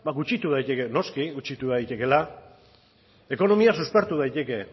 gutxitu daiteke noski gutxitu daitekela ekonomia suspertu daiteke